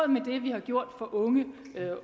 med det vi har gjort for unge